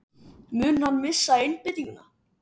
Mun hann missa einbeitinguna?